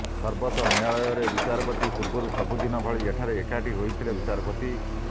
ସର୍ବୋଚ୍ଚ ନ୍ୟାୟାଳୟରେ ବିଚାର ପୂର୍ବରୁ ସବୁଦିନ ଭଳି ଏଠାରେ ଏକାଠି ହୋଇଥିଲେ ବିଚାରପତି